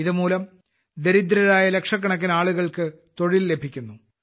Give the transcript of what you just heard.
ഇതുമൂലം ദരിദ്രരായ ലക്ഷക്കണക്കിന് ആളുകൾക്ക് തൊഴിൽ ലഭിക്കുന്നു